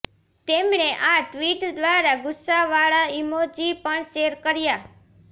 તેમણે આ ટ્વિટ દ્વારા ગુસ્સાવાળા ઇમોજી પણ શૅર કર્યા